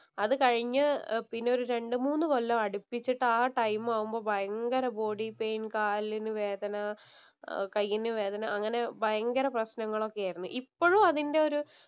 അത് കഴിഞ്ഞു പിന്നെ ഒരു രണ്ടു മൂന്ന് കൊല്ലം അടുപ്പിച്ചിട്ട് ആ ടൈം ആകുമ്പം ഭയങ്കര ബോഡി പെയിന്‍, കാലിനു വേദന. ആഹ് കൈയിന് വേദന അങ്ങനെ ഭയങ്കര പ്രശ്നങ്ങള്‍ ഒക്കെ ആയിരുന്നു. ഇപ്പഴും അതിന്‍റെ ഒരു